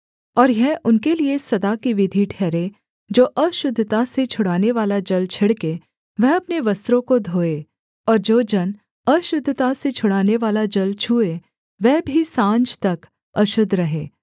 और यह उनके लिये सदा की विधि ठहरे जो अशुद्धता से छुड़ानेवाला जल छिड़के वह अपने वस्त्रों को धोए और जो जन अशुद्धता से छुड़ानेवाला जल छूए वह भी साँझ तक अशुद्ध रहे